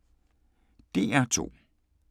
DR2